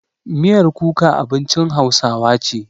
Miyar kuka abincin hausawa ce.